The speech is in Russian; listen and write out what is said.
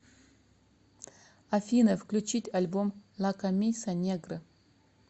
афина включить альбом ла камиса негра